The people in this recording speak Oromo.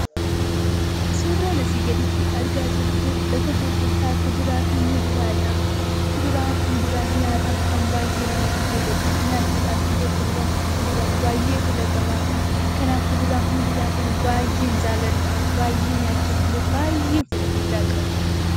Suuraan asii gaditti argaa jirru kun lafa gurgurtaa kuduraa fi muduraa dha. Kuduraa fi muduraan nyaataaf kan baay'ee namatti toluudha. Nyaachuudhaaf illee kuduraa fi muduraan baay'ee filataamaa dha. Kanaaf, kuduraa fi muduraa kana baay'een jaalladha. Baay'ee nyaachuuf illee baay'een fedha guddaa qaba.